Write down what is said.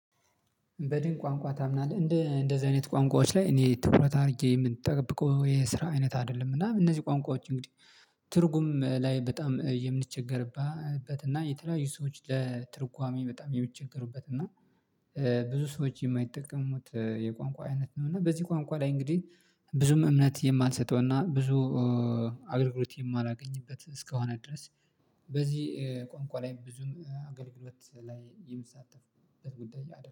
በድን ቋንቋ ታምናለህ? እንደ እንደዚህ አይነት ቋንቋዎች ላይ እኔ ትኩረት አድርጌ ምንጠብቀው የስራ አይነት አይደለም እና እነዚህ ቋንቋዎች እንግዲህ ትርጉም ላይ በጣም የምንቸገርበት እና የተለያዩ ሰዎች ለትርጓሜ በጣም የሚቸገሩበት እና ብዙ ሰዎች የማይጠቀሙት የቋንቋ አይነት ነው እና በዚህ ቋንቋ ላይ እንግዲህ ብዙም እምነት የማልሰጠው እና ብዙ አገልግሎት የማላገኝበት እስከሆነ ድረስ በዚህ ቋንቋ ላይ ብዙም አገልግሎት ላይ የምትሳተፍበት ጉዳይ አይደለም